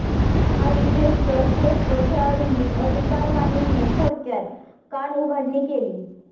काही जेष्ठ्य श्रेष्ठ खेळाडूंनी अधिकारवाणीने थोडक्यात कानउघाडणी केली